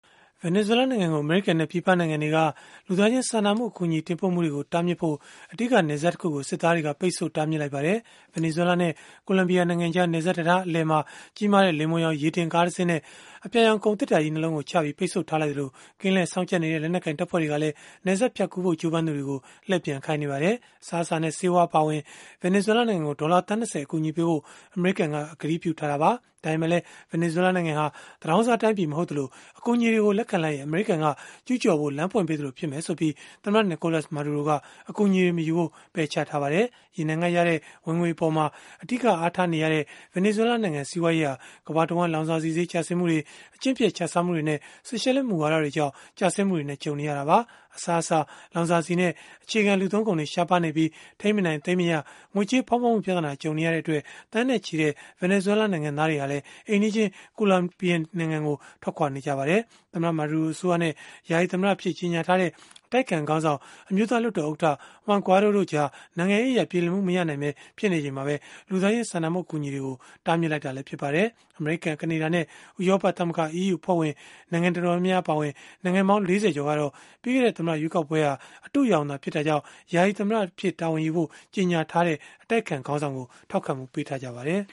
ဗင်နီဇွဲလားနိုင်ငံကို အမေရိကန်နဲ့ ပြည်ပနိုင်ငံတွေက လူသားချင်းစာနာမှု အကူအညီ တင်ပို့မှုတွေကို တားမြစ်ဖို့ အဓိက နယ်စပ်တခုကို စစ်သားတွေက ပိတ်ဆို့တားမြစ်လိုက်ပါတယ်။ ဗင်နီဇွဲလားနဲ့ ကိုလံဘီယာနိုင်ငံကြား နယ်စပ်တံတား အလယ်မှာ ကြီးမားတဲ့ လိမ္မော်ရောင် ရေတင်ကားတစင်းနဲ့ အပြာရောင် ကုန်သေတ္တာကြီး ၂ လုံးကိုချပြီး ပိတ်ဆို့ထားလိုက်သလို၊ ကင်းလှည့်စောင့်ကြပ်နေတဲ့ လက်နက်ကိုင် တပ်ဖွဲ့တွေကလည်း နယ်စပ်ဖြတ်ကူးဖို့ ကြိုးပမ်းသူတွေကို လှည့်ပြန်ခိုင်းနေပါတယ်။ အစားအစာနဲ့ ဆေးဝါး အပါအဝင် ဗင်နီဇွဲလား နိုင်ငံကို ဒေါ်လာသန်း ၂၀ အကူအညီပေးဖို့ အမေရိကန်က ကတိပြုထားတာပါ။ ဒါပေမဲ့လည်း ဗင်နီဇွဲလားနိုင်ငံဟာ သူတောင်းစားတိုင်းပြည် မဟုတ်သလို အကူအညီတွေကို လက်ခံလိုက်ရင် အမေရိကန်က ကျုးကျော်ဖို့ လမ်းဖွင့်ပေးသလို ဖြစ်လိမ့်မယ်ဆိုပြီး သမ္မတ Nicolas Maduro က အကူအညီတွေ မယူဖို့ ပယ်ချထားပါတယ်။ ရေနံကရတဲ့ ဝင်ငွေအပေါ် အဓိကအားထားနေရဲ့ ဗင်နီဇွဲလားနိုင်ငံ စီးပွားရေးဟာ ကမ္ဘာတဝန်း လောင်စာဆီဈေး ကျဆင်းမှုတွေ၊ အကျင့်ပျက်ခြစားမှုတွေနဲ့ ဆိုရှယ်လစ်မူဝါဒတွေကြောင့် ကျဆင်းမှုတွေနဲ့ ကြုံနေရတာပါ။ အစားအစာ၊ လောင်စာဆီနဲ့ အခြေခံလူသုံးကုန်တွေ ရှားပါးနေပြီး၊ ထိန်းမနိုင်သိမ်းမရ ငွေကြေးဖောင်းပွမှု ပြဿနာ ကြုံနေရတဲ့အတွက် သန်းနဲ့ချီတဲ့ ဗင်နီဇွဲလား နိုင်ငံသားတွေဟာလည်း အိမ်နီးချင်း ကိုလံဘီယာနိုင်ငံကို ထွက်ခွာနေကြပါတယ်။ သမ္မတ Maduro အစိုးရနဲ့ ယာယီသမ္မတအဖြစ် ကြေညာထားတဲ့ အတိုက်အခံခေါင်းဆောင်၊ အမျိုးသားလွှတ်တော်ဥက္ကဋ္ဌ Juan Guaido တို့ကြား နိုင်ငံရေးအရ ပြေလည်မှု မရနိုင်ဘဲ ဖြစ်နေချိန်မှာပဲ လူသားချင်းစာနာမှု အကူအညီတွေကို တားမြစ်လိုက်တာလည်း ဖြစ်ပါတယ်။ အမေရိကန်၊ ကနေဒါနဲ့ ဥရောပသမဂ္ဂ အဖွဲ့ဝင် နိုင်ငံတော်တော်များများ အပါအဝင် နိုင်ငံပေါင်း ၄၀ ကျော်ကတော့ ပြီးခဲ့တဲ့ သမ္မတရွေးကောက်ပွဲဟာ အတုအယောင်သာ ဖြစ်တာကြောင့် သမ္မတဖြစ်ခွင့်ရှိကြောင်း ကြေညာထားတဲ့ အတိုက်အခံခေါင်းဆောင်ကို ထောက်ခံမှုပေးထားပါတယ်